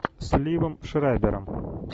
с ливом шрайбером